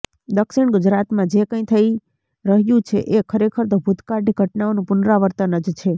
દક્ષિણ ગુજરાતમાં જે કંઈ થઈ રહ્યું છે એ ખરેખર તો ભૂતકાળની ઘટનાઓનું પુનરાવર્તન જ છે